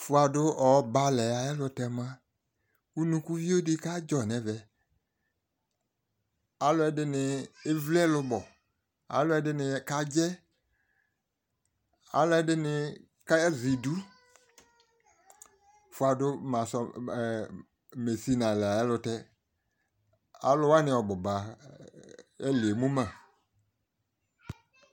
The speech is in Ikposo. Fʋadʋ ɔbalɛ ayɛlʋtɛ mua, unukuvio dɩ kadzɔ n'ɛvɛ Alʋɛdɩnɩ evli ɛlʋbɔ, alʋɛdɩnɩ kadzɛ, slʋɛdɩnɩ kazɛ idu fuadʋ mesinalɛ ayɛlʋtɛ Alʋwanɩ ɔbʋba ɛlɩ emuma